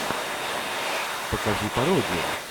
покажи пародию